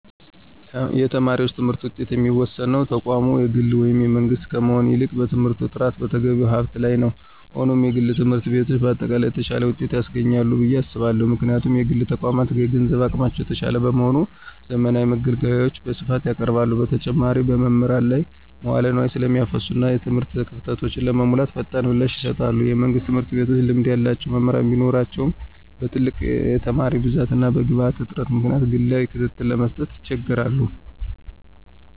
የተማሪዎች የትምህርት ውጤት የሚወሰነው ተቋሙ የግል ወይም የመንግሥት ከመሆን ይልቅ በትምህርቱ ጥራትና በተገቢው ሀብት ላይ ነው። ሆኖም፣ የግል ትምህርት ቤቶች በአጠቃላይ የተሻለ ውጤት ያስገኛሉ ብዬ አስባለሁ። ምክንያቱም: የግል ተቋማት የገንዘብ አቅማቸው የተሻለ በመሆኑ፣ ዘመናዊ መገልገያዎችን በስፋት ያቀርባሉ። በተጨማሪም፣ በመምህራን ላይ መዋለ ንዋይ ስለሚያፈሱና እና የትምህርት ክፍተቶችን ለመሙላት ፈጣን ምላሽ ይሰጣሉ። የመንግሥት ትምህርት ቤቶች ልምድ ያላቸው መምህራን ቢኖራቸውም፣ በትልቅ የተማሪ ብዛትና በግብዓት እጥረት ምክንያት ግላዊ ክትትልን ለመስጠት ይቸገራሉ።